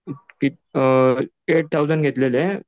अ eight thousand घेतलेले.